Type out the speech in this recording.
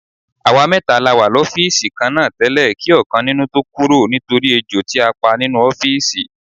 Àwa mẹ́ta la wà lọ́fíìsì kan náà tẹ́lẹ̀ kí ọ̀kan nínú tó kúrò nítorí ejò tí a pa nínú ọ́fíìsì.